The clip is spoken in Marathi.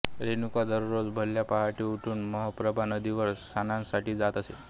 रेणुका दररोज भल्या पहाटे उठून मलप्रभा नदीवर स्नानासाठी जात असे